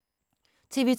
TV 2